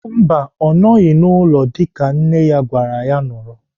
Mba, ọ nọghị n'ụlọ dịka nne ya gwara ya nọrọ.